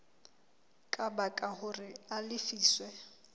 ka baka hore a lefiswe